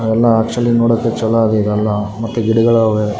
ಎಲ್ಲ ಆಕ್ಚುಲಿ ನೋಡಕ್ಕೆ ಚಲೋ ಆಗಿದೆ ಇವೆಲ್ಲ ಮತ್ತೆ ಗಿಡಗಳೂ ಇವೆ.